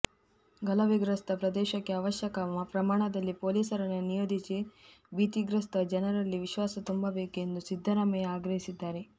ಗಲಭೆ ಗ್ರಸ್ತ ಪ್ರದೇಶಕ್ಕೆ ಅವಶ್ಯಕ ಪ್ರಮಾಣದಲ್ಲಿ ಪೊಲೀಸರನ್ನು ನಿಯೋಜಿಸಿ ಭೀತಿಗ್ರಸ್ತ ಜನರಲ್ಲಿ ವಿಶ್ವಾಸ ತುಂಬಬೇಕು ಎಂದು ಸಿದ್ದರಾಮಯ್ಯ ಆಗ್ರಹಿಸಿದ್ದಾರೆ